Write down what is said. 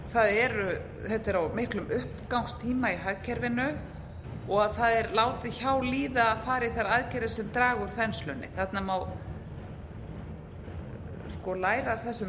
það þetta er á miklum uppgangstíma í hagkerfinu og að það er látið hjá líða að fara í þær aðgerðir sem draga úr þenslunni þarna má læra af þessum